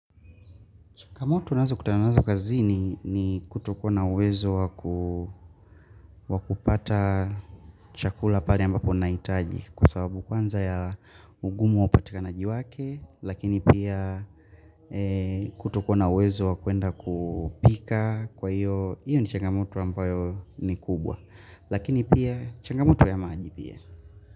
Changamoto nazo kutananazo kazi ni kutokuwa uwezo kwakupata chakula pale ambapo nahitaji kwasababu kwanza ya ugumu wa upatikanaji wake lakini pia kutokuwa nauwezo wakwenda kupika kwa hiyo, iyo ni changamoto ambayo ni kubwa lakini pia changamoto ya maji pia.